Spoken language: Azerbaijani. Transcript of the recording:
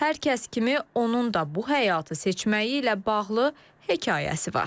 Hər kəs kimi onun da bu həyatı seçməyi ilə bağlı hekayəsi var.